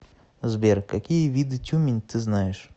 сбер какие виды тюмень ты знаешь